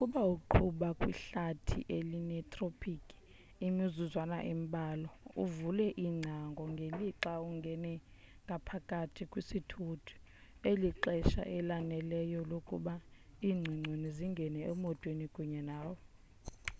nokuba uqhuba kwihlathi elinethropikhi imizuzwana embalwa uvule iingcango ngelixa ungena ngaphakathi kwisithuthi lixesha elaneleyo lokuba iingcongconi zingene emotweni kunye nawe